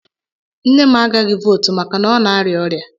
Nne m agaghị votu maka na ọ na-arịa ọrịa